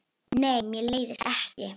Nei, mér leiðist ekki.